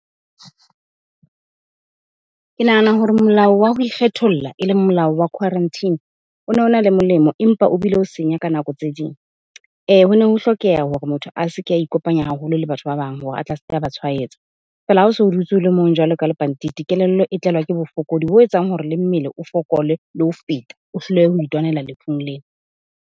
Ke nahana hore molao wa ho ikgetholla eleng molao wa quarantine, o no na le molemo empa o bile o senya ka nako tse ding. Ho ne ho hlokeha hore motho a se ke a ikopanya haholo le batho ba bang hore a tle a seke a ba tshwaetsa. Fela hao so o dutse ole mong jwalo ka lepantiti, kelello e tlelwa ke bofokodi bo etsang hore le mmele o fokole le ho feta. O hlolehe ho itwanela lefung lena.